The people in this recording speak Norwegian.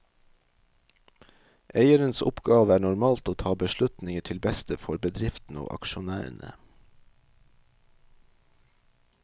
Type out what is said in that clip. Eierens oppgave er normalt å ta beslutninger til beste for bedriften og aksjonærene.